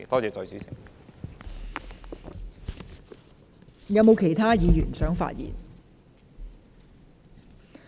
是否有其他議員想發言？